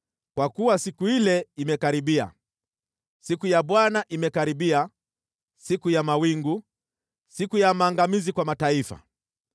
Kwa kuwa siku ile imekaribia, siku ya Bwana imekaribia, siku ya mawingu, siku ya maangamizi kwa mataifa.